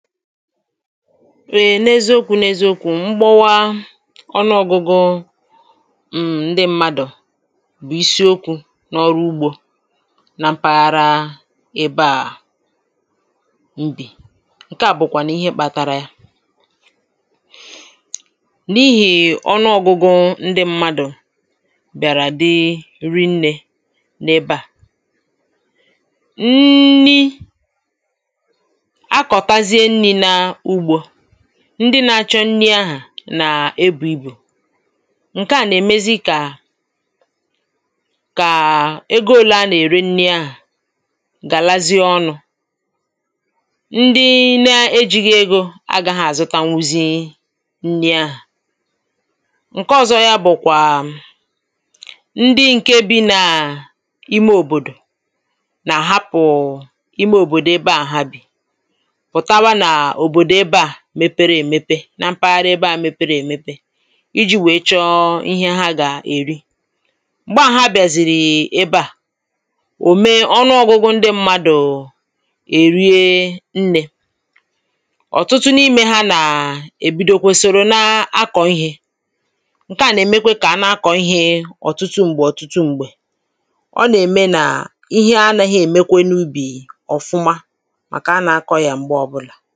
Ee n’eziokwu n’eziokwu m̀gbọwa ọnụọgụgụ um ǹdị m̀madụ̀ bụ̀ isiokwu̇ n’ọrụ ugbȯ na mpaghara um ebe à[paues] m bi ǹke à bụ̀kwànụ̀ ihe kpȧtȧrȧ ya[paues] n’ihè ọnụọgụgụ ǹdị m̀madụ̀ bịàrà dị nri nni̇ n’ebe à ụm nri[paues] akọtazie nri na ụgbọndị nȧ-ȧchọ̇ nri ahụ̀ nà-ebu̇ ibù ǹke à nà-èmezi kà kàà ego ȯlu a nà-ère nri ahụ̀ gàlazie ọnụ̇ ndị nȧ-ėjighi egȯ agȧghị àzụtanwu zi̇i nri ahụ̀ ǹke ọ̇zọ̇ yȧ bụ̀kwàà [paues]ndị ǹke bi̇ nàà[paues] ime òbòdò[paues]nà-àhapụ̀ ime òbòdò ebe a ha bi putawa n'obodo ebe a mepere èmepe na mpaghara ebe à mepere èmepe iji̇ wè chọọ ihe ha gà-èri m̀gba à ha bị̀àzìrì um ebe à ò mee ọnụọgụgụ ndị mmadụ̀[paues] è rie nnė ọ̀tụtụ n’imė ha nà è bidokwe soro na-akọ̀ ihė ǹke à nà-èmekwe kà a na-akọ̀ ihė ọ̀tụtụ m̀gbè ọ̀tụtụ m̀gbè ọ nà-ème nà ihe anaghị èmekwe n’ubì ọ̀fụma màkà anà-akọ̀ yà m̀gbe ọbụlà